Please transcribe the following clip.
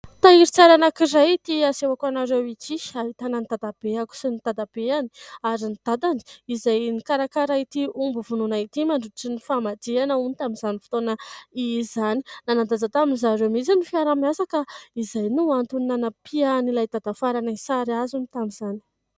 Tahirin-tsary anankiray ity asehoko anareo ity. Ahitana ny dadabeako sy ny dadabeany ary ny dadany izay mikarakara ity omby hovonoina ity mandritry ny famadihana hono tamin'izany fotoana izany. Nanan-danja tamin'ny ry zareo mihitsy ny fiaraha-miasa ka izay no antony nanapihan'ilay dadafaranay sary azy hono tamin'izany.